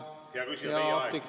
Hea küsija, teie aeg!